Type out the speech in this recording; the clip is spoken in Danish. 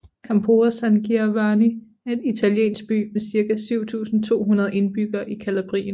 Campora San Giovanni er en italiensk by med cirka 7200 indbyggere i Calabrien